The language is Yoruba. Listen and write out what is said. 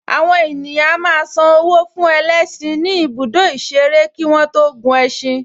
Àwọn ènìyàn a máa san owó fún ẹlẹ́ṣin ní ibùdó ìṣeré kí wọ́n tó gun ẹṣin